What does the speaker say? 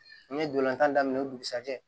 An ye dolantan daminɛ o dugusɛjɛ